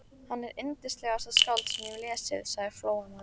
Hann er yndislegasta skáld sem ég hef lesið, sagði Flóamaður.